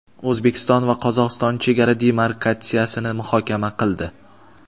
O‘zbekiston va Qozog‘iston chegara demarkatsiyasini muhokama qildi.